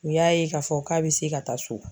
U y'a ye k'a fɔ k'a bɛ se ka taa so.